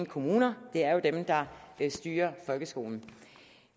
kommuner det er jo dem der styrer folkeskolen